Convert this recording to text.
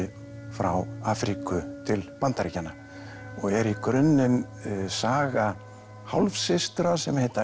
frá Afríku til Bandaríkjanna og er í grunninn saga hálfsystra sem heita